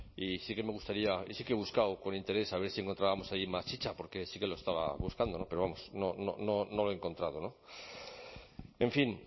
y sí que he buscado con interés a ver si encontrábamos allí más chica porque sí que lo estaba buscando pero vamos no lo he encontrado en fin